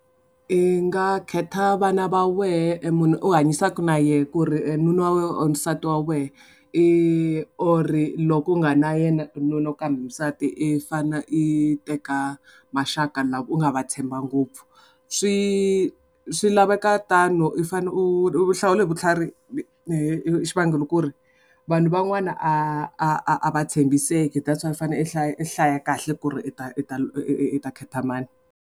I nga khetha vana va wehe e munhu u hanyisaka na yehe ku ri e nuna wa or nsati wa wena i or loko u nga na yena nuna kumbe nsati i fane i teka maxaka lava u nga va tshemba ngopfu swi swi laveka tano u fanele u hlawula hi vutlhari i xivangelo ku ri vanhu van'wana a a a a va tshembiseki that's why i fane i hlaya i hlaya kahle ku ri i ta i ta i ta khetha mani.